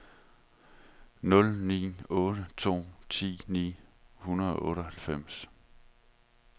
nul ni otte to ti ni hundrede og otteoghalvfems